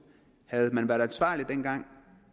havde man været ansvarlig dengang